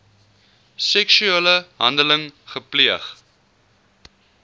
seksuele handeling gepleeg